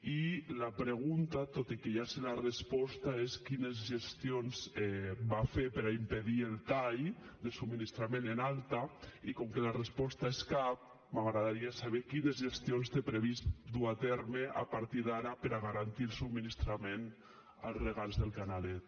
i la pregunta tot i que ja sé la resposta és quines gestions va fer per impedir el tall de subministrament en alta i com que la resposta és cap m’agradaria saber quines gestions té previst dur a terme a partir d’ara per a garantir el subministrament als regants del canalet